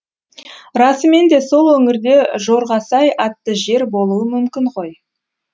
расымен де сол өңірде жорғасай атты жер болуы мүмкін ғой